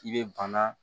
I bɛ bana